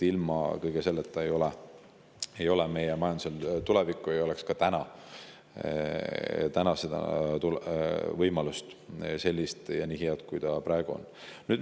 Ilma kõige selleta ei ole meie majandusel tulevikku ja meil ei oleks ka täna nii head võimalust, nagu on.